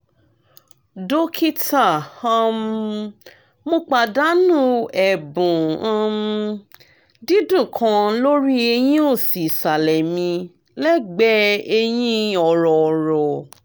dókítà um mo pàdánù ẹ̀bùn um dídùn kan lórí eyín òsì ìsàlẹ̀ mi lẹ́gbẹ̀ẹ́ eyín ọ̀rọ̀ ọ̀rọ̀